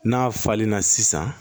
N'a falenna sisan